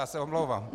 Já se omlouvám.